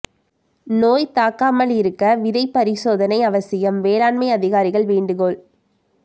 நோய் தாக்காமல் இருக்க விதை பரிசோதனை அவசியம் வேளாண்மை அதிகாரிகள் வேண்டுகோள்